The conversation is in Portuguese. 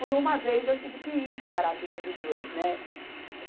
Por uma vez, eu tive que ir separar a briga dos dois, né?